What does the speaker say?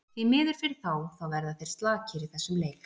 Því miður fyrir þá, þá verða þeir slakir í þessum leik.